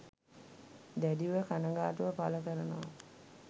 දැඩිව කනගාටුව පළ කරනවා